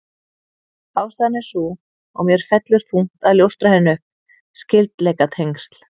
Ástæðan er sú, og mér fellur þungt að ljóstra henni upp: Skyldleikatengsl